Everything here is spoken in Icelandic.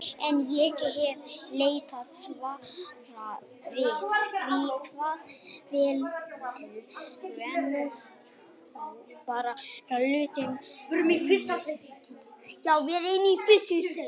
En ég hef leitað svara við því hvað veldur, en þó bara lauslega á Netinu.